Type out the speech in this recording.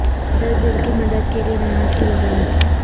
مقدس دل کی مدد کے لئے نماز کی وضاحت